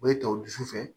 O bɛ ta o dusu fɛ